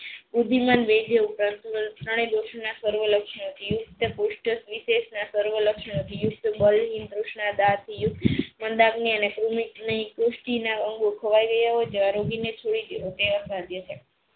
ઊદ્ધિમાન વિધ્ય સર્વ લક્ષણો છે પુસ્થ વીસેશ સરવા ના લક્ષણો છે અંગો ખોવાઈ ગયા હોય